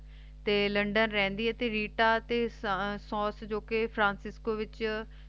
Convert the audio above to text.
ਤੇ ਲੰਡਨ ਰਹਿੰਦੀ ਹੈ ਤੇ ਵੀਤਾ ਤੇ ਸੁਨਸ ਜੋ ਕ ਫਰਾਂਸਿਸਕੋ ਵਿਚ